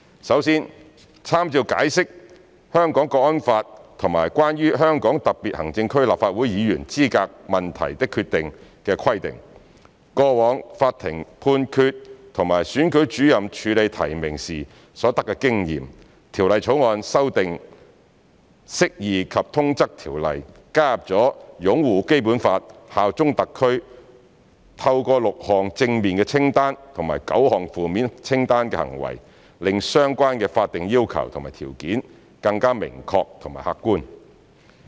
首先，參照《解釋》、《香港國安法》及《關於香港特別行政區立法會議員資格問題的決定》的規定、過往法庭判決和選舉主任處理提名時所得經驗，《條例草案》修訂《釋義及通則條例》，加入了"擁護《基本法》、效忠香港特區"，透過6項正面清單及9項負面清單行為，令相關的法定要求和條件更加明確和客觀。